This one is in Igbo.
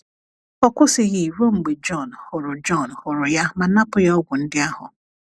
Ọ kwụsịghị ruo mgbe Jọn hụrụ Jọn hụrụ ya ma napụ ya ọgwụ ndị ahụ.